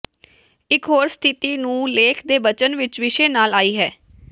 ਇਕ ਹੋਰ ਸਥਿਤੀ ਨੂੰ ਲੇਖ ਦੇ ਬਚਨ ਵਿਚ ਵਿਸ਼ੇ ਨਾਲ ਆਈ ਹੈ